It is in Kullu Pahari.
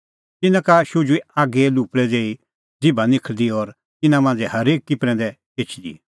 तिन्नां का शुझुई आगीए लुपल़ै ज़ेही ज़िभा निखल़दी और तिन्नां मांझ़ै हरेकी प्रैंदै एछदी